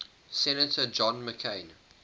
senator john mccain